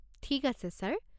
ঠিক আছে ছাৰ।